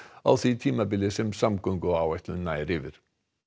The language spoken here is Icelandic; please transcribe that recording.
á því tímabili sem samgönguáætlunin nær yfir